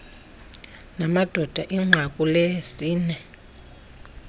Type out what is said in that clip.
namadoda inqaku lesini